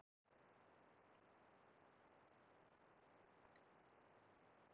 Stundum tala Gyðingar bara um hina hebresku Biblíu